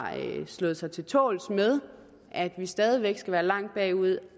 slået sig til tåls med at vi stadig væk skal være langt bagud